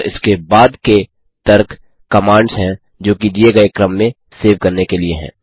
और इसके बाद के तर्क कमांड्स हैं जोकि दिए गये क्रम में सेव करने के लिए हैं